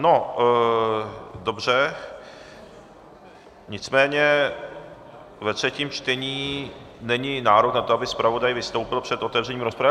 no dobře, nicméně ve třetím čtení není nárok na to, aby zpravodaj vystoupil před otevřením rozpravy.